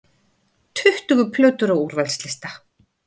Tuttugu plötur á úrvalslista